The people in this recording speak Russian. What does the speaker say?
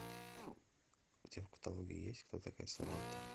у тебя в каталоге есть кто такая саманта